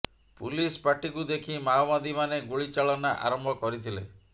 police ପାର୍ଟିକୁ ଦେଖି ମାଓବାଦୀମାନେ ଗୁଳି ଚଳନା ଆରମ୍ଭ କରିଥିଲେ